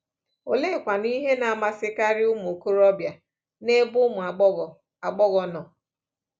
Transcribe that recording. Oleekwanụ ihe na-amasịkarị ụmụ okorobịa n’ebe ụmụ agbọghọ agbọghọ nọ?